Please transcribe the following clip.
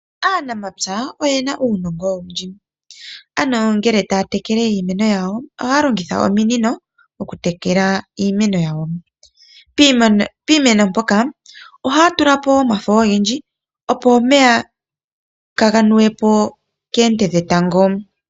Aanamapya oye na uunongo oundji ano ngele taya tekele iimeno yawo ohaya longitha ominino oku tekela iimeno yawo, piimeno mpoka ohaya tula po wo omafo ogendji opo omeya kaga nuwe po keete dhe tango.